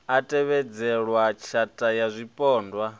a tevhedzelwa tshatha ya zwipondwa